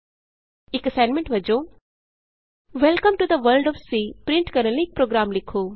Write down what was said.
ਇਕ ਅਸਾਈਨਮੈਂਟ ਵਜੋਂ welcome to the world of C print ਕਰਨ ਲਈ ਇਕ ਪ੍ਰੋਗਰਾਮ ਲਿਖੋ